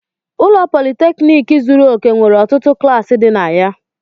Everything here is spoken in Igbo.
Ụlọ Politékiniki zuru òke nwere ọtụtụ klasi di na ya